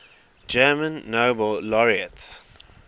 german nobel laureates